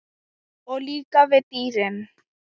Og líka við dýrin.